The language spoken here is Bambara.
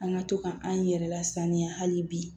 An ka to ka an yɛrɛ lasaniya hali bi